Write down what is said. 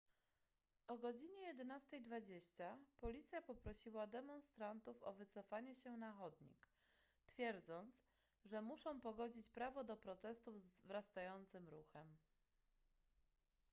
o godz 11:20 policja poprosiła demonstrantów o wycofanie się na chodnik twierdząc że muszą pogodzić prawo do protestów z wzrastającym ruchem